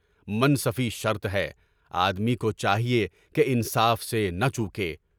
منصفی شرط ہے، آدمی کو چاہیے کہ انصاف سے نہ چوکے۔